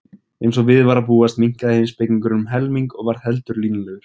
Eins og við var að búast minnkaði heimspekingurinn um helming og varð heldur línulegur.